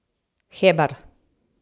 Hebar?